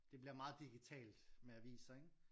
Det bliver meget digitalt med aviser ikke?